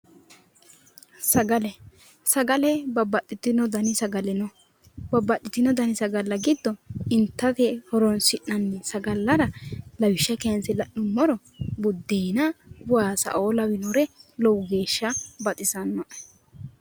Sagale babbaxitino dani sagale no babbaxitino sagale giddo itate horoonsi'nanni sagallara lawishsha kaynse la'nummoro buddeena, waasaoo la'nummoro lowo geeshsha baxisannoe.